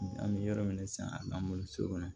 An bɛ yɔrɔ min san n'an bolo so kɔnɔ